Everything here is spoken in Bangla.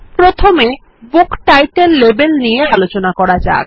প্রথমে বুক টাইটেল লেবেল নিয়ে আলোচনা করা যাক